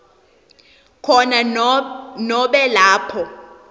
khona nobe lapho